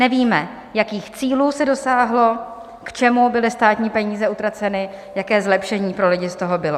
Nevíme, jakých cílů se dosáhlo, k čemu byly státní peníze utraceny, jaké zlepšení pro lidi z toho bylo.